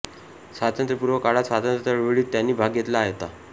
स्वातंत्र्यपूर्व काळात स्वातंत्र्य चळवळीत त्यांनी भाग घेतला होता